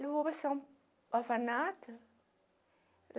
Levou orfanato.